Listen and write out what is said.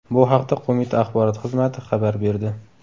Bu haqda qo‘mita axborot xizmati xabar berdi .